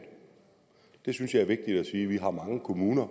det synes jeg er vigtigt at sige vi har mange kommuner